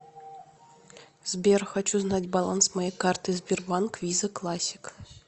сбер хочу знать баланс моей карты сбербанк виза классик